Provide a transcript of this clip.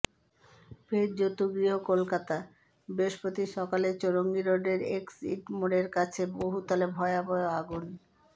ফের জতুগৃহ কলকাতা বৃহস্পতি সকালে চৌরঙ্গি রোডের এক্সাইড মোড়ের কাছে বহুতলে ভয়াবহ আগুন